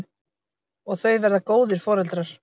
Og þau verða góðir foreldrar.